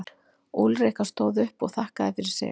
Úlrika stóð upp og þakkaði fyrir sig.